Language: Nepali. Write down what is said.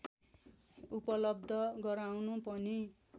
उपलव्ध गराउनु पनि